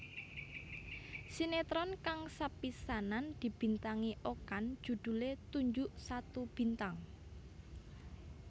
Sinetron kang sepisanan dibintangi Okan judhulé Tunjuk Satu Bintang